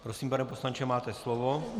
Prosím, pane poslanče, máte slovo.